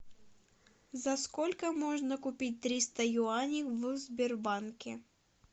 за сколько можно купить триста юаней в сбербанке